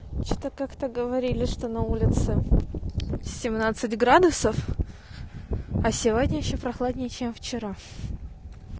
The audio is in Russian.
что-то как-то говорили что на улице семнадцать градусов а сегодня ещё прохладнее чем вчера